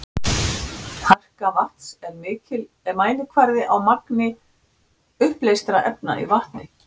Harka vatns er mælikvarði á magni uppleystra efna í vatni.